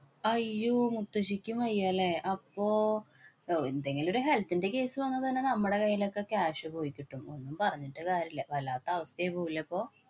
അയ്യോ! മുത്തശ്ശിക്കും വയ്യാല്ലെ? അപ്പൊ, അഹ് എന്തെങ്കിലും ഒരു health ന്‍റെ case വന്നാ തന്നെ നമ്മുടെ കൈയിലൊക്കെ cash പോയി കിട്ടും. ഒന്നും പറഞ്ഞിട്ട് കാര്യമില്ല. വല്ലാത്ത അവസ്ഥ ആയി പോവുല്ലേ പ്പൊ.